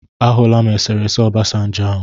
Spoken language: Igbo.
Ahụla m esere ese Obasanjo ahụ.